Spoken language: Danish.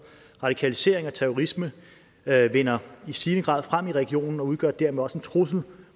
radikalisering og terrorisme vinder i stigende grad frem i regionen og udgør dermed også en trussel